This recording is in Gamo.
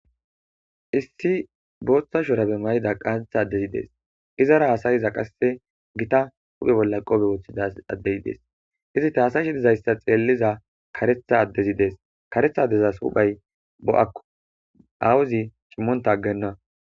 Issi botha shurabe qantha adezy des izara hasayiza qase gita hu'e bolla qofe wothida ady des izeti hasayishe xeliza kretha adezi des kretha adeza huphay po'ako awozi cimota agena